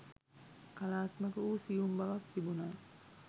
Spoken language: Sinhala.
කලාත්මක වූ සියුම් බවක් තිබුණා